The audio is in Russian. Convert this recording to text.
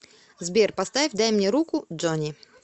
сбер поставь дай мне руку джони